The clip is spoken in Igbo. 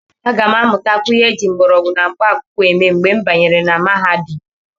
Aga m amụtakwu ihe eji mgbọrọgwụ na mkpaakwụkwọ eme mgbe m banyere na mahadum.